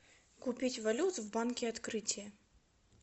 купить валюту в банке открытие